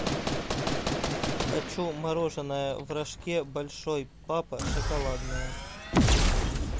хочу мороженое в рожке большой папа шоколадное